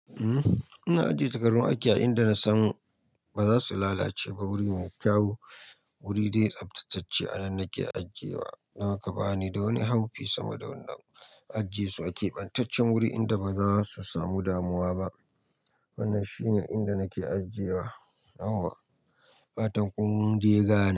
Uhm, ina ajiye takardun aiki a inda na san ba za su lalace ba. Wuri mai kyau, wuri dai tsaftatacce a nan nake ajiyewa. Don haka ba ni da wani haufi sabo da wannan ajesu ake a keɓantaccen wuri inda ba za su samu damuwa ba. Wannan shine inda nake ajiyewa. Yawwa. Fatan ƙun dai gane.